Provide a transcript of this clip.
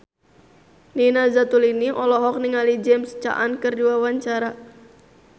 Nina Zatulini olohok ningali James Caan keur diwawancara